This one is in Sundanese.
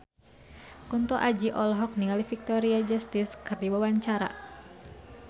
Kunto Aji olohok ningali Victoria Justice keur diwawancara